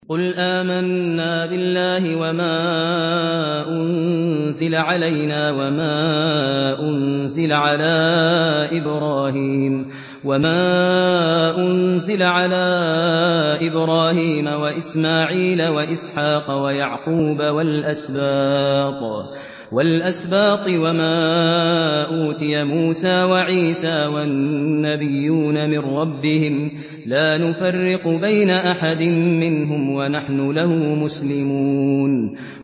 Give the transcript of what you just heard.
قُلْ آمَنَّا بِاللَّهِ وَمَا أُنزِلَ عَلَيْنَا وَمَا أُنزِلَ عَلَىٰ إِبْرَاهِيمَ وَإِسْمَاعِيلَ وَإِسْحَاقَ وَيَعْقُوبَ وَالْأَسْبَاطِ وَمَا أُوتِيَ مُوسَىٰ وَعِيسَىٰ وَالنَّبِيُّونَ مِن رَّبِّهِمْ لَا نُفَرِّقُ بَيْنَ أَحَدٍ مِّنْهُمْ وَنَحْنُ لَهُ مُسْلِمُونَ